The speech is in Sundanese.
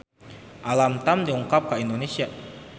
Alam Tam dongkap ka Indonesia